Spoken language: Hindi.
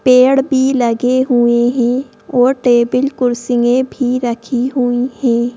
पेड़ भी लगे हुए हैं और टेबल कुर्सियां भी रखी हुई हैं।